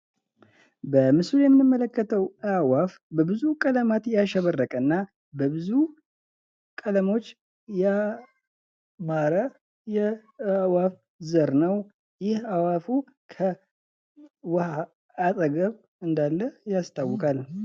በምስሉ የምንመለከተው ወፍ በብዙ ያሸበረቀ እና በብዙ ቀለሞች ያማረ የአዕዋፍ ዘር ነው። ይህ አእዋፋ ውሃ አጠገብ እንዳለ ያስታውቃል።